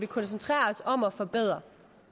koncentrere os om at forbedre